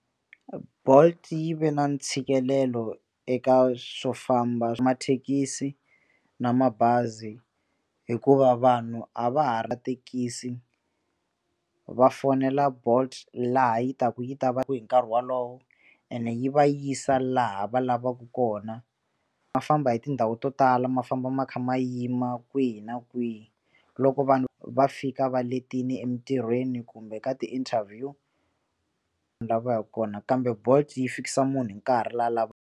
Bolt yi ve na ntshikelelo eka swo famba hi mathekisi na mabazi hikuva vanhu a va ha ri thekisi va fonela bolt laha yi ta ku yi ta va hi nkarhi wolowo ene yi va yisa laha va lavaka kona ma famba hi tindhawu to tala ma famba ma kha ma yima kwihi na kwihi loko vanhu va fika va letini emitirhweni kumbe ka ti interview lavaka kona kambe bolt yi fikisa munhu hi nkarhi la lava.